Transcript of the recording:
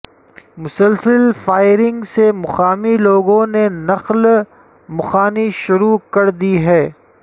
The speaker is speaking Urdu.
مسلسل فائرنگ سے مقامی لوگوں نے نقل مقانی شروع کر دی ہے